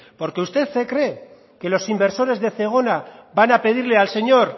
porque usted se cree que los inversores de zegona van a pedirle al señor